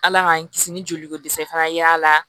Ala k'an kisi ni joli ko dɛsɛ fana ye a la